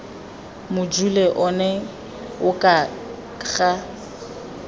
mojule ono o ka ga